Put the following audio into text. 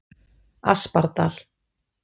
Aspardal